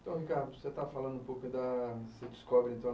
Então, Ricardo, você está falando um pouco da... Você descobre, então